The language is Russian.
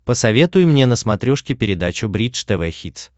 посоветуй мне на смотрешке передачу бридж тв хитс